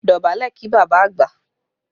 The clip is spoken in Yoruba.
Dọ̀bálẹ̀ kí bàbá àgbà!